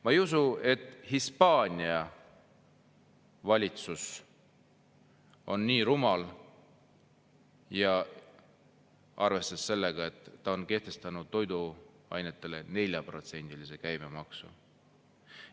Ma ei usu, et Hispaania valitsus on rumal, kui arvestada seda, et ta on kehtestanud toiduainetele 4%-lise käibemaksu.